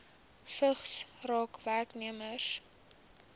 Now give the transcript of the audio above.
vigs raak werknemers